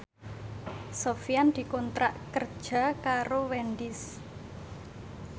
Sofyan dikontrak kerja karo Wendys